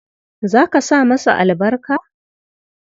Za ka sa masa albarka?